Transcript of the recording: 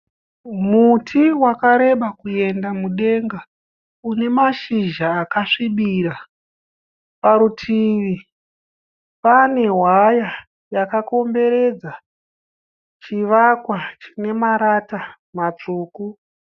Muti wakareba kuenda mudenga. Une mashizha akasvibira. Parutivi pane waya yakakomberedza chivakwa chine marata matsvuku.